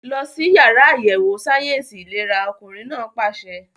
Lọ sí yàrá àyẹ̀wò sáyẹ̀nsì ìlera! Ọkùnrin náà pàṣẹ.